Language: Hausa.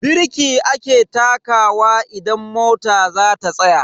Birki ake takawa idan mota zata tsaya.